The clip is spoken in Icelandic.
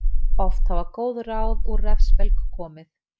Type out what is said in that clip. Oft hafa góð ráð úr refsbelg komið.